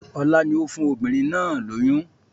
Ọlá ni ó fún obìnrin náà lóyún